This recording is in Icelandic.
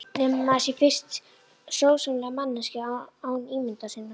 Nema maður sé fyrst sómasamleg manneskja án ímyndunar sinnar.